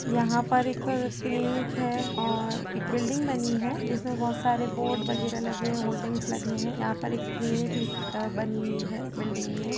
यहाँ पर एक क्लिनिक है और एक बिल्डिंग्स बनी है। जिसमे बहुत सारे बोर्डस् वगैरह लगे है। होल्डिंग्स लगे है। यहाँ पर एक क्लिनिक लिखी बनी हुई है। बिल्डिंग में --